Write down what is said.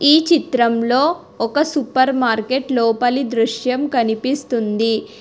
ఈ చిత్రంలో ఒక సూపర్ మార్కెట్ లోపలి దృశ్యం కనిపిస్తుంది.